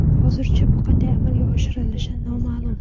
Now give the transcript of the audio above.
Hozircha bu qanday amalga oshirilishi noma’lum.